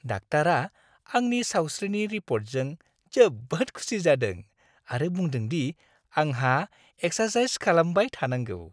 डाक्टारा आंनि सावस्रिनि रिप'र्टजों जोबोद खुसि जादों आरो बुंदों दि आंहा एक्सारसाइस खालामबाय थानांगौ।